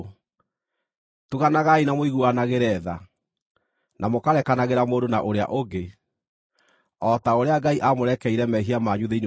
Tuganagai na mũiguanagĩre tha, na mũkarekanagĩra mũndũ na ũrĩa ũngĩ, o ta ũrĩa Ngai aamũrekeire mehia manyu thĩinĩ wa Kristũ.